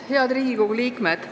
Head Riigikogu liikmed!